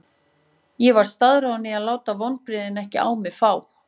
Ég var staðráðinn í að láta vonbrigðin ekki á mig fá.